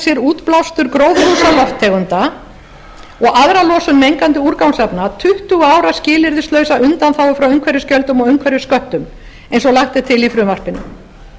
sér útblástur gróðurhúsalofttegunda og aðra losun mengandi úrgangsefna tuttugu ára skilyrðislausa undanþágu frá umhverfisgjöldum og umhverfissköttum eins og lagt er til í frumvarpinu við teljum